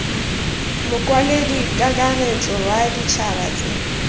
mokwaledi kakaretso wa ditšhaba tse